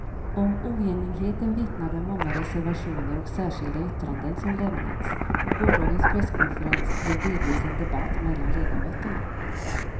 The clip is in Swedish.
Om oenigheten vittnar de många reservationer och särskilda yttranden som lämnats och gårdagens presskonferens blev delvis en debatt mellan ledamöterna.